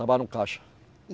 Trabalha no caixa. E